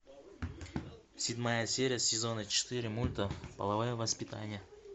седьмая серия сезона четыре мульта половое воспитание